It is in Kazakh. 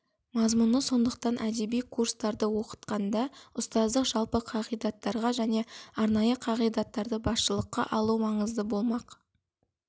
мазмұны сондықтан әдеби курстарды оқытқанда ұстаздық жалпы қағидаттарға және арнайы қағидаттарды басшылыққа алу маңызды болмақ